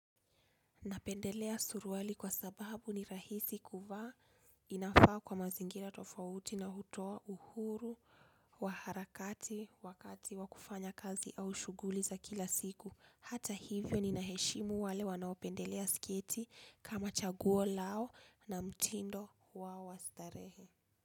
Napendelea suruali kwa sababu ni rahisi kuvaa inafaa kwa mazingira tofauti na hutoa uhuru wa harakati wakati wa kufanya kazi au shuguli za kila siku. Hata hivyo ninaheshimu wale wanaopendelea sketi kama chaguo lao na mtindo wao wa starehe.